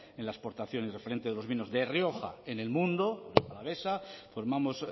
en la exportación y referente de los vinos de rioja en el mundo rioja alavesa formamos